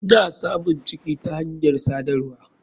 Mna samun ciki ta hanyar sadarwa.